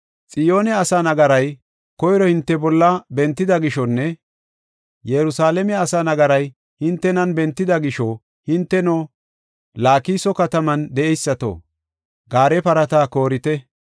Xiyoone asaa nagaray koyro hinte bolla bentida gishonne Yerusalaame asaa nagaray hintenan bentida gisho, hinteno, Laakiso kataman de7eysato, gaare parata koorite.